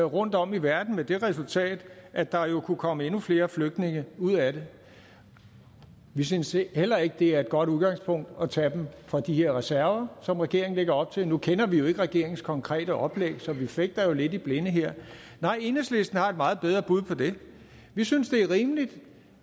rundtom i verden med det resultat at der jo kunne komme endnu flere flygtninge ud af det vi synes heller ikke det er et godt udgangspunkt at tage dem fra de her reserver som regeringen lægger op til nu kender vi jo ikke regeringens konkrete oplæg så vi fægter lidt i blinde her nej enhedslisten har et meget bedre bud på det vi synes det er rimeligt